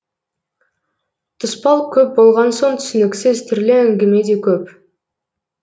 тұспал көп болған соң түсініксіз түрлі әңгіме де көп